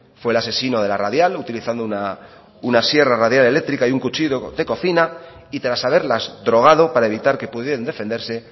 fue el asesino de la radial utilizando una sierra radial eléctrica y un cuchillo de cocina y tras haberlas drogado para evitar que pudieran defenderse